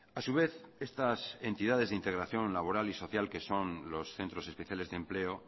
a su vez estas entidades de integración laboral y social que son los centros especiales de empleo